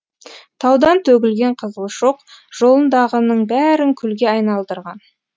таудан төгілген қызыл шоқ жолындағының бәрін күлге айналдырған